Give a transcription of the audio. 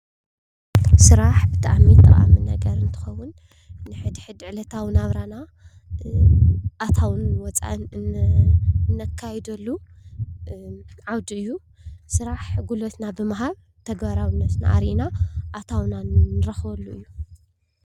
ስራሕ ብጣዕሚ ጠቓሚ ነገር እንትኸውን ንሕድ ሕድ ዕለታዊ ናብራና ኣታውን ወፃእን እነካይደሉ ዓውዲ እዩ፡፡ ስራሕ ጉልበትና ብምሃብ ተግባራውነትና ኣርኢና ኣታውና ንረኽበሉ እዩ፡፡